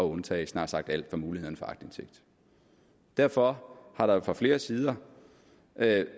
undtage snart sagt alt fra muligheden for aktindsigt derfor har der jo fra flere sider